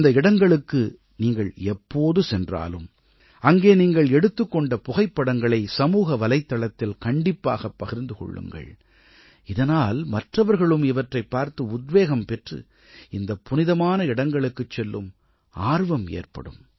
அந்த இடங்களுக்கு நீங்கள் எப்போது சென்றாலும் அங்கே நீங்கள் எடுத்துக் கொண்ட புகைப்படங்களை சமூக வலைத்தளத்தில் கண்டிப்பாக பகிர்ந்து கொள்ளுங்கள் இதனால் மற்றவர்களும் இவற்றைப் பார்த்து உத்வேகம் பெற்று இந்தப் புனிதமான இடங்களுக்குச் செல்லும் ஆர்வம் ஏற்படும்